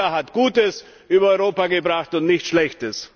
Die Troika hat Gutes über Europa gebracht, und nicht Schlechtes!